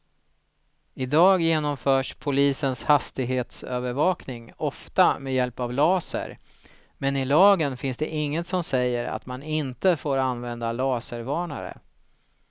Idag genomförs polisens hastighetsövervakning ofta med hjälp av laser, men i lagen finns inget som säger att man inte får använda laservarnare.